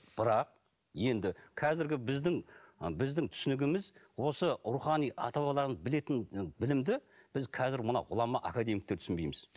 бірақ енді қазіргі біздің біздің түсінігіміз осы рухани ата бабалардың білетін білімді біз қазір мына ғұлама академиктер түсінбейміз